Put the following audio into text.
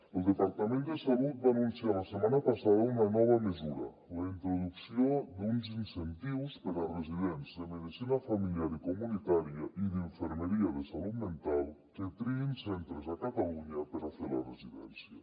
el departament de salut va anunciar la setmana passada una nova mesura la introducció d’uns incentius per a residents de medicina familiar i comunitària i d’infermeria en salut mental que triïn centres a catalunya per a fer la residència